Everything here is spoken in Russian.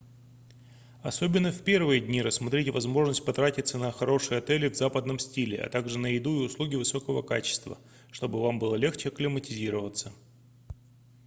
особенно в первые дни рассмотрите возможность потратиться на хорошие отели в западном стиле а также на еду и услуги высокого качества чтобы вам было легче акклиматизироваться